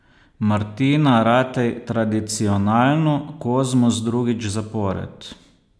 Martina Ratej tradicionalno, Kozmus drugič zapored.